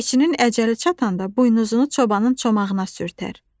Keçinin əcəli çatanda buynuzunu çobanın çomağına sürtər.